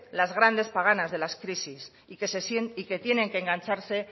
las grandes paganas de las crisis y que tienen que engancharse